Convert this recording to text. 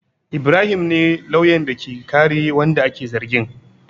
Ibrahim ne lauyan da ke kare wanda ake zargin.